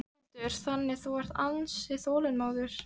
Þórhildur: Þannig að þú ert ansi þolinmóður?